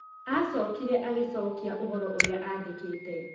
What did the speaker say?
Aacokire agĩcokia ũhoro ũrĩa aandĩkĩte.